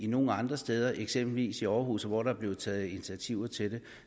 nogle andre steder eksempelvis i aarhus hvor der er blevet taget initiativer til det